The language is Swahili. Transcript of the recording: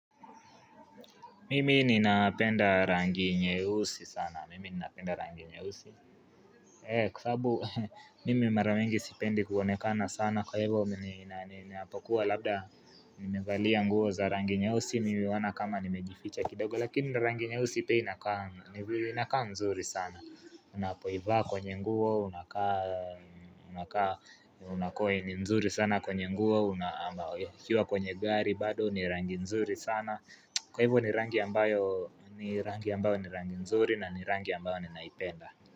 Mimi ninapenda rangi nyeusi sana, mimi ninapenda rangi nyeusi Kwa sababu, mimi mara wengi sipendi kuonekana sana Kwa hivyo, mimi ninapokuwa labda nimevalia nguo za rangi nyeusi Mimi huona kama nimejificha kidogo, lakini rangi nyeusi pia inakaa mzuri sana Unapoivaa kwenye nguo, unakaa, unakaa, huoneka ni mzuri sana kwenye nguo Ukiwa kwenye gari bado, ni rangi nzuri sana Kwa hivyo ni rangi ambayo ni rangi nzuri na ni rangi ambayo ninaipenda.